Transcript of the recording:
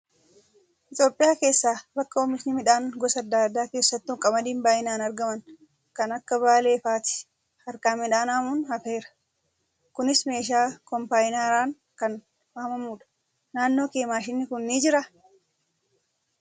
Itoophiyaa keessaa bakka oomishni midhaan gosa adda addaa keessattuu qamadiin baay'inaan aragaman kan akka Baalee fa'aatti harkaan midhaan haamuun hafeera. Kunis meeshaa kombaayinaraan kan haamamudha. Naannoo kee maashinni kun ni jiraa?